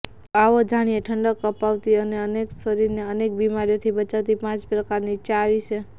તો આવો જાણીએ ઠંડક અપાવતી અને શરીરને અનેક બીમારીઓથી બચાવતી પાંચ પ્રકારની ચા વિશે